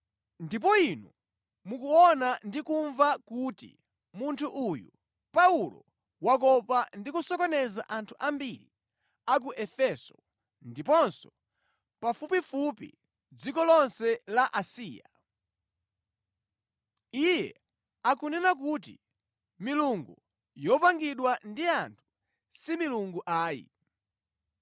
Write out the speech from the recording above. Ndipo inu mukuona ndi kumva kuti munthu uyu Paulo wakopa ndi kusokoneza anthu ambiri a ku Efeso ndiponso pafupifupi dziko lonse la Asiya. Iye akunena kuti milungu yopangidwa ndi anthu si milungu ayi.